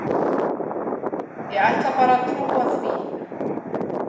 Ég ætla bara að trúa því.